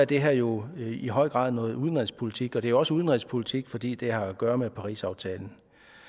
det her jo i høj grad noget udlandspolitik og det er også udenrigspolitik fordi det har at gøre med parisaftalen